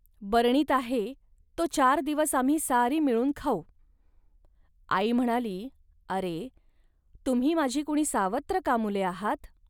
बरणीत आहे, तो चार दिवस आम्ही सारी मिळून खाऊ. .आई म्हणाली, "अरे, तुम्ही माझी कुणी सावत्र का मुले आहात